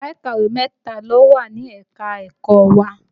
Yàrá ìkàwé mẹ́ta ló wà ní ẹ̀ka-ẹ̀kọ́ wa